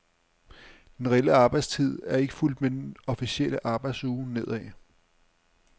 Den reelle arbejdstid er ikke fulgt med den officielle arbejdsuge nedad.